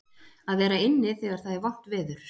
Að vera inni þegar það er vont veður.